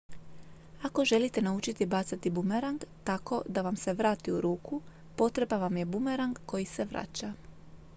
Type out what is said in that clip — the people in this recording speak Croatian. ako želite naučiti bacati bumerang tako da vam se vrati u ruku potreban vam je bumerang koji se vraća